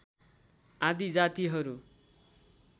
आदि जातिहरू